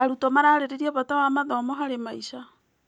Arutwo mararĩrĩria bata wa mathomo harĩ maica.